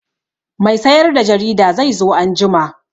Mai sayar da jarida zai zo anjima.